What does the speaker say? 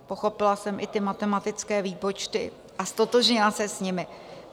Pochopila jsem i ty matematické výpočty a ztotožnila se s nimi.